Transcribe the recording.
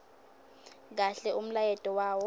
kahle umlayeto wawo